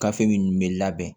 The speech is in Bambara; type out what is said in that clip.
Gafe minnu bɛ labɛn